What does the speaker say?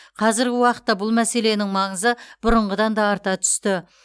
қазіргі уақытта бұл мәселенің маңызы бұрынғыдан да арта түсті